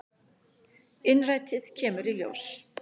Innrætið kemur í ljós.